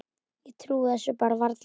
Ég trúi þessu bara varla.